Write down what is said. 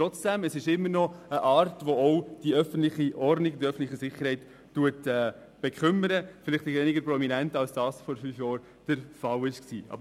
Trotzdem: Es ist ein Phänomen, das die öffentliche Ordnung und Sicherheit beeinträchtigt, vielleicht etwas weniger prominent, als dies noch vor fünf Jahren der Fall war.